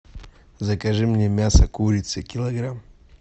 закажи мне мясо курицы килограмм